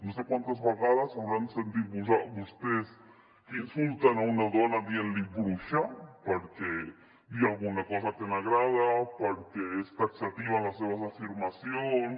no sé quantes vegades hauran sentit vostès que insulten a una dona dient li bruixa per dir alguna cosa que no agrada perquè és taxativa en les seves afirmacions